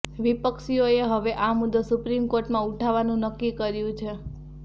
વિપક્ષીઓએ હવે આ મુદ્દો સુપ્રીમ કોર્ટમાં ઉઠાવવાનું નક્કી કર્યું છે